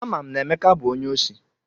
Ama m na Emeka bụ onye osi.